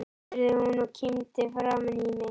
spurði hún og kímdi framan í mig.